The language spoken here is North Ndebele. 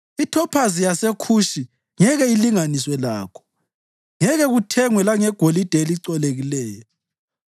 Ithophazi yaseKhushi ngeke ilinganiswe lakho; ngeke kuthengwe langegolide elicolekileyo.